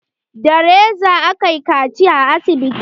Da reza aka kaciya a asibiti.